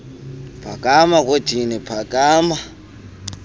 phakama kwedini phakama